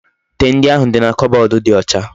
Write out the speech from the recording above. Ite ndi ahu di na kobodu di ocha